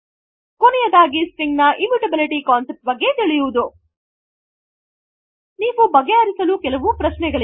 ಕೊನೆಯದಾಗಿ ಸ್ಟ್ರಿಂಗ್ ನ immutability concept ಬಗ್ಗೆ ತಿಳಿಯುವುದು ನೀವು ಬಗೆಹರಿಸಲು ಕೆಲವು ಪ್ರಶ್ನೆಗಳು